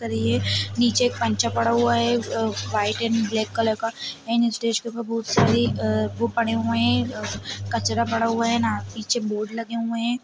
नीचे पंचा पड़ा हुआ है वाइट एंड ब्लाक कलर का एंड स्टेज पर बहुत सारे वो पड़े हुए है कचरा पड़ा हुआ है पीछे बोर्ड लगे हुए है।